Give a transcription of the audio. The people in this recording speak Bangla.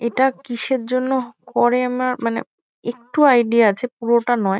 এটা কিসের জন্য করি আমার মানে একটু আইডিয়া আছে পুরোটা নয়।